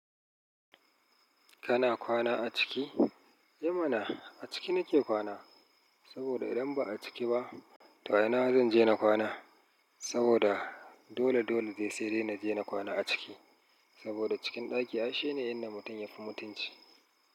Kana kwana a ciki? Ehmana a ciki nike kwana, saboda idan ba a ciki ba to a ina zan je na kwana? Saboda dole dole zai sai dai na je na kwana a ciki. Saboda cikin ɗaki ay shine ne inda mutum yafi mutunci.